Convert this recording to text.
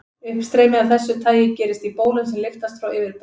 Uppstreymi af þessu tagi gerist í bólum sem lyftast frá yfirborði.